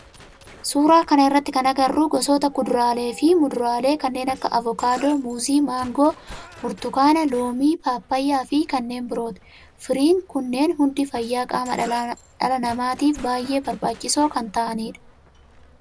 Suuraa kana irratti kan agarru gosoota kuduraalee fi muduraalee kanneen akka avokaadoo, muuzii, maangoo, burtukaana, loomii, paappayyaa fi kanneen birooti. Firiin kunneen hundi fayyaa qaama dhala namaatif baayyee barbaachisoo kan ta'aanidha.